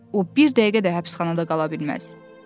O bir dəqiqə də həbsxanada qala bilməz.